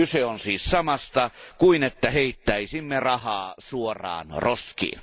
Kyse on siis samasta kuin että heittäisimme rahaa suoraan roskiin.